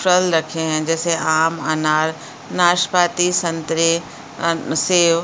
फल रखे हैं जैसे आम अनार नाशपाती संतरे --